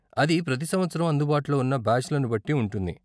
అది ప్రతి సంవత్సరం అందుబాటులో ఉన్న బ్యాచ్లను బట్టి ఉంటుంది.